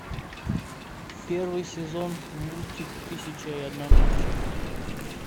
первый сезон мультик тысяча и одна ночь